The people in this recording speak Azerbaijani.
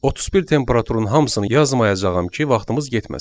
31 temperaturun hamısını yazmayacağam ki, vaxtımız getməsin.